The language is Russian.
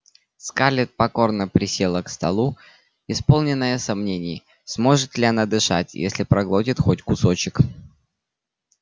скарлетт покорно присела к столу исполненная сомнений сможет ли она дышать если проглотит хоть кусочек